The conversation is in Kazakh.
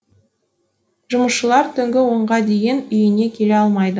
жұмысшылар түнгі онға дейін үйіне келе алмайды